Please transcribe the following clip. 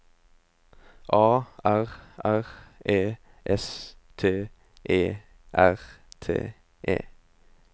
A R R E S T E R T E